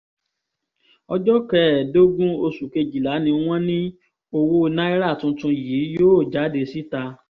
ọjọ́ kẹẹ̀ẹ́dógún oṣù kejìlá ni wọ́n ní owó náírà tuntun yìí yóò jáde síta